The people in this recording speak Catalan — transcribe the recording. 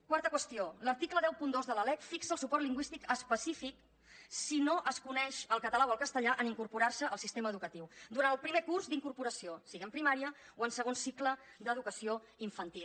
quarta qüestió l’article cent i dos de la lec fixa el suport lingüístic específic si no es coneix el català o el castellà en incorporar se al sistema educatiu durant el primer curs d’incorporació sigui en primària o en segon cicle d’educació infantil